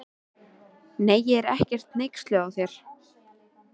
Nei, ég er ekkert hneyksluð á þér.